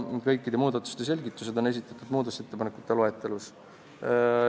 Kõik selgitused on esitatud muudatusettepanekute loetelus.